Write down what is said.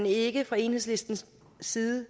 ikke fra enhedslistens side